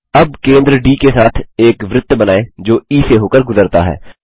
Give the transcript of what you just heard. अब केंद्र डी के साथ एक वृत्त बनाएँ जो ई से होकर गुजरता है